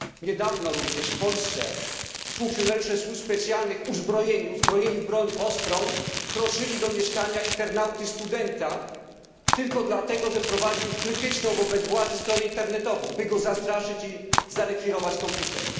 Niedawno również w Polsce funkcjonariusze służb specjalnych uzbrojeni w broń ostrą wkroczyli do mieszkania internauty studenta tylko dlatego, że prowadził krytyczną wobec władzy stronę internetową, by go zastraszyć i zarekwirować komputer.